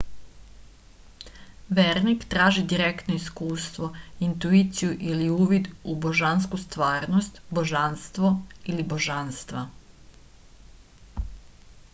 верник тражи директно искуство интуицију или увид у божанску стварност/божанство или божанства